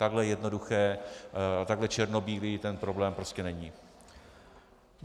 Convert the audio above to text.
Takhle jednoduchý, takhle černobílý ten problém prostě není.